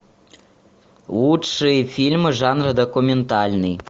лучшие фильмы жанра документальный